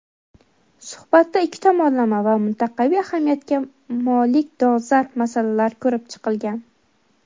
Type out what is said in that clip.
suhbatda ikki tomonlama va mintaqaviy ahamiyatga molik dolzarb masalalar ko‘rib chiqilgan.